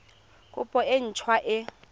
kopo e nt hwa e